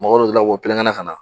Mɔgɔ dɔ delila k'o pɛrɛn-kɛrɛn ka na